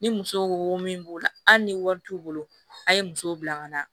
Ni muso wo min b'o la hali ni wari t'u bolo a ye muso bila ka na